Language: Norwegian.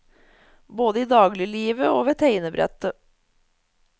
Både i dagliglivet og ved tegnebrettet.